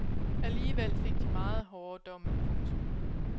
Alligevel fik de meget hårde domme. punktum